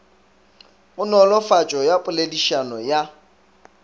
go nolofatšo ya poledišano ya